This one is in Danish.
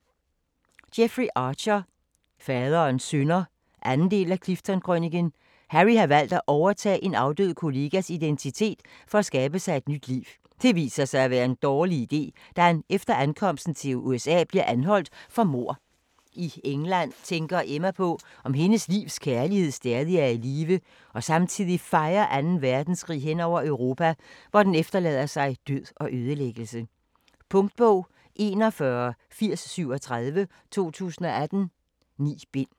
Archer, Jeffrey: Faderens synder 2. del af Clifton-krøniken. Harry har valgt at overtage en afdød kollegas identitet, for at skabe sig et nyt liv. Det viser sig at være en dårlig iden, da han efter ankomsten til USA bliver anholdt for mord. I England tænker Emma på om hendes livs kærlighed stadig er i live og samtidig fejer 2. verdenskrig hen over Europa, hvor den efterlader sig død og ødelæggelse. Punktbog 418037 2018. 9 bind.